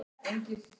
Iðja sú er ekki góð.